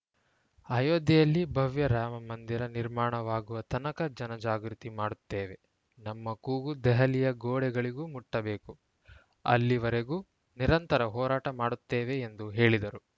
ಅಯೋಧ್ಯೆಯಲ್ಲಿ ಭವ್ಯ ರಾಮ ಮಂದಿರ ನಿರ್ಮಾಣವಾಗುವ ತನಕ ಜನಜಾಗೃತಿ ಮಾಡುತ್ತೇವೆ ನಮ್ಮ ಕೂಗು ದೆಹಲಿಯ ಗೋಡೆಗಳಿಗೂ ಮುಟ್ಟಬೇಕು ಅಲ್ಲಿವರೆಗೂ ನಿರಂತರ ಹೋರಾಟ ಮಾಡುತ್ತೇವೆ ಎಂದು ಹೇಳಿದರು